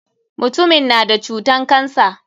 Mutumin na da cutan cancer.